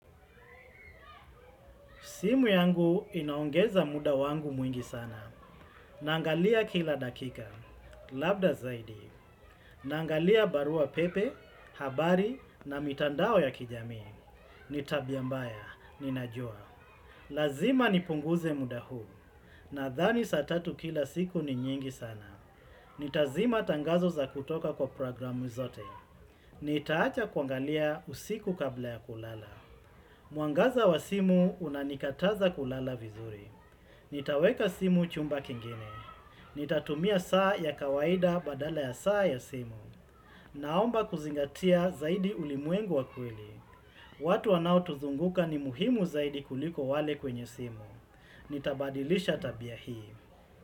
Simu yangu inaongeza muda wangu mwingi sana. Naangalia kila dakika. Labda zaidi. Naangalia barua pepe, habari na mitandao ya kijamii. Ni tabia mbaya, ninajua. Lazima nipunguze muda huu. Nadhani saa tatu kila siku ni nyingi sana. Nitazima tangazo za kutoka kwa programu zote. Nitaacha kuangalia usiku kabla ya kulala. Mwangaza wa simu unanikataza kulala vizuri. Nitaweka simu chumba kingine. Nitatumia saa ya kawaida badala ya saa ya simu. Naomba kuzingatia zaidi ulimwengu wa kweli. Watu wanao tuzunguka ni muhimu zaidi kuliko wale kwenye simu. Nitabadilisha tabia hii.